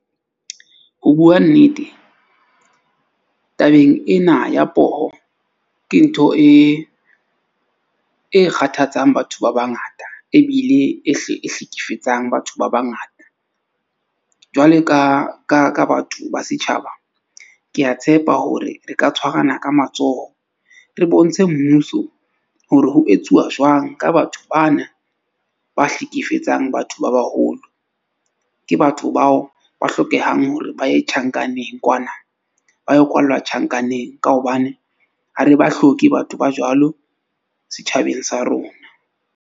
Ho bua nnete, tabeng ena ya poho, ke ntho e kgathatsang batho ba bangata ebile e hle e hlekefetsang batho ba bangata. Jwalo ka batho ba setjhaba. Ke a tshepa hore re ka tshwarana ka matsoho re bontshe mmuso hore ho etsuwa jwang ka batho bana ba hlekefetsang batho ba baholo. Ke batho bao ba hlokehang hore ba ye tjhankaneng kwana ba yo kwallwa tjhankaneng. Ka hobane ha re ba hloke batho ba jwalo setjhabeng sa rona.